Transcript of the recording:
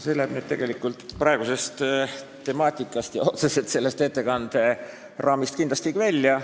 See läheb nüüd praegusest temaatikast ja otseselt selle ettekande raamidest välja.